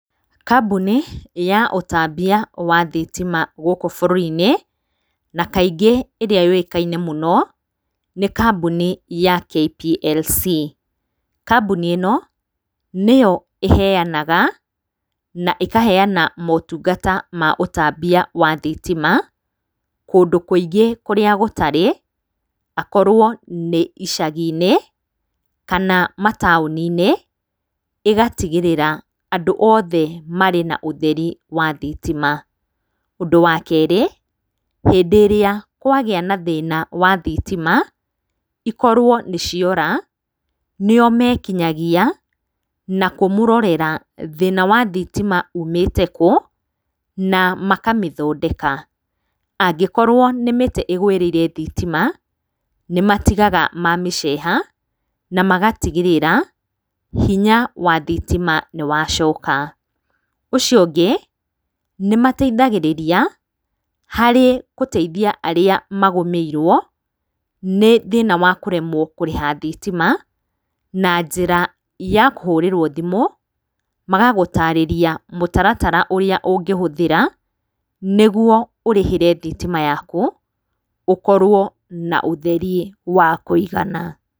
Kambuni ya ũtambia wa thitima gũkũ bũrũri-inĩ na kaingĩ ĩrĩa yũĩkaine mũno, nĩ kambuni ya KPLC. Kambuni ĩno, nĩyo ĩheanaga na ĩkaheana motungata ma ũtambia wa thitima kũndũ kũingĩ kũria gũtarĩ, akorwo nĩ icagi-inĩ kana mataũni-inĩ, ĩgatigĩrĩra andũ othe marĩ na ũtheri wa thitima. Ũndũ wa kerĩ, hĩndĩ ĩrĩa kwagĩa na thĩna wa thitima, ikorwo nĩ ciora, nĩo mekinyagia na kũmũrorera thĩna wa thitima umĩte kũ, na makamĩthondeka. Angĩkorwo nĩ mĩtĩ ĩgũĩrĩire thitima, nĩ matigaga mamĩceha na magatigĩrĩra hinya wa thitima nĩwacooka. Ũcio ũngĩ, nĩmateithagĩrĩria harĩ gũteithia arĩa magũmeirwo nĩ thĩna wa kũremwo kũrĩha thitima, na njĩra ya kũhũrĩrwo thimũ magagũtarĩria mũtaratara ũrĩa ũngĩhũthĩra, nĩguo ũrĩhĩre thitima yaku ũkorwo na ũtheri wa kũigana.